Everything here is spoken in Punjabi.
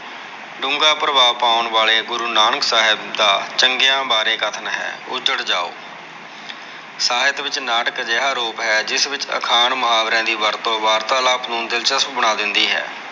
ਡੂੰਘਾ ਪ੍ਰਭਾਵ ਪਾਉਣ ਵਾਲੇ ਗੁਰੂ ਨਾਨਕ ਸਾਹਿਬ ਦਾ ਚੰਗਿਆ ਬਾਰੇ ਕਥਨ ਹੈ। ਉਜੜ ਜਾਓ। ਸਾਹਿਤ ਵਿੱਚ ਨਾਟਕ ਅਜਿਹਾ ਰੂਪ ਹੈ। ਜਿਸ ਵਿੱਚ ਅਖਾਣ ਮੁਹਾਵਰਿਆ ਦੀ ਵਰਤੋਂ ਵਾਰਤਾਲਾਪ ਨੂੰ ਦਿਲਚਸਪ ਬਣਾ ਦਿੰਦੀ ਹੈ।